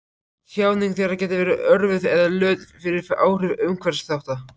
Tjáning þeirra gæti verið örvuð eða lött fyrir áhrif umhverfisþátta.